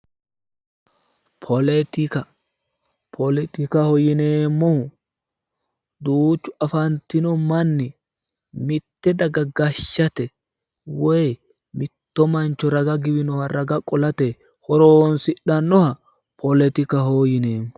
Politika, politikaho yineemmohu duuchu afantino manni mitte daga gashshate woy mitto mancho raga giwinoha raga qolate horonsidhannoha politikaho yineemmo.